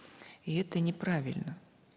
и это неправильно